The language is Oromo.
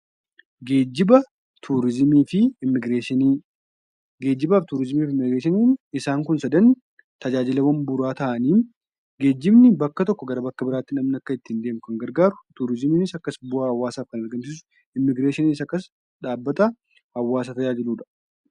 Geejiba, turizimii fi immigireeshiniin isaan Kun sadan tajaajilaawwan bu'uuraa ta'aniidha. Geejibni bakka tokkoo bakka biraatti akka ittiin deemtu kan gargaaru, turizimiinis akkasuma bu'aa hawaasaa argamsiisuuf kan gargaaru, immigireeshiniin dhaabbata hawaasa tajaajiludha.